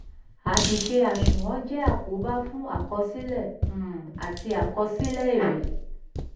àṣìṣe àṣùnwọ̀n jẹ́ àkóbá fún àkọsílẹ̀ um àti àkọsílẹ̀ èrè.